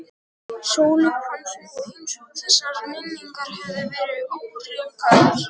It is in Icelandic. Sóleyju fannst nú eins og þessar minningar hefðu verið óhreinkaðar.